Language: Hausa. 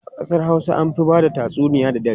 A kasar Hausa an fi ba da tatsuniya da dare.